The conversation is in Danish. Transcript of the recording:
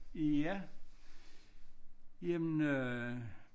Ja jamen øh